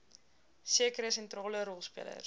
sekere sentrale rolspelers